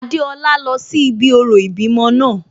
Adéọlá lọ sí ibi orò ìbímọ náà